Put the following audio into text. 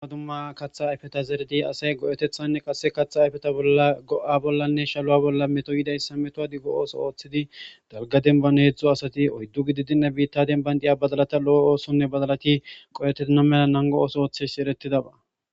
amadumma kaththa ayfeta zerdi asay go7etethanne qasse katha ayfeta go7a bollanne shalo7a bolla meto yidayssa metoa di go ooso ooththidi dalga denbane hedzdzo asati oyddu gidi dinna biitta denban diya badalata lo7o oosonne badalati qo7etena mela nango ooso ooththes eretidaba